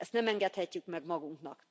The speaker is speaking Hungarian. Ezt nem engedhetjük meg magunknak.